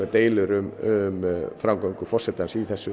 deilur um framgöngu forsetans í þessu